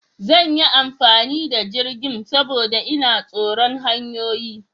Zan yi amfani da jirgin, saboda ina tsoron hanyoyi.